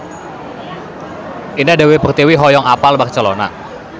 Indah Dewi Pertiwi hoyong apal Barcelona